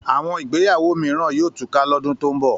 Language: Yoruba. Àwọn ìgbéyàwó mìíràn yóò túká lọ́dún tó ń bọ̀